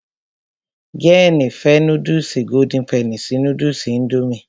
Jéènì fẹ́ núdùsì golden penny sí núdùsì indomie